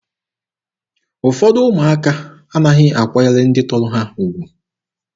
Ụfọdụ ụmụaka anaghị akwanyere ndị tọrọ ha ugwu.